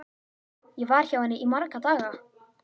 Ég var hjá henni í marga daga.